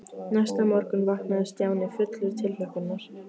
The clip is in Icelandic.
Næsta morgun vaknaði Stjáni fullur tilhlökkunar.